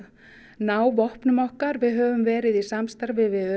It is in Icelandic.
ná vopnum okkar höfum verið í samstarfi við